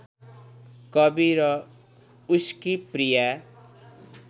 कवि र उसकी प्रिया